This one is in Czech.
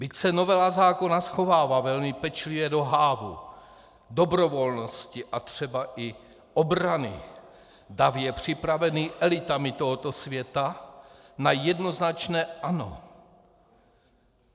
Byť se novela zákona schovává velmi pečlivě do hávu dobrovolnosti a třeba i obrany, dav je připravený elitami tohoto světa na jednoznačné ano.